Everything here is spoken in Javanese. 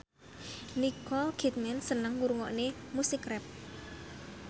Nicole Kidman seneng ngrungokne musik rap